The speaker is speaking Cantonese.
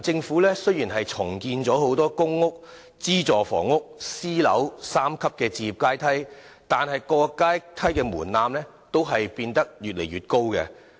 近年，雖然政府重建"公屋—資助房屋—私人樓宇"的三層置業階梯，但各級的門檻都變得越來越高。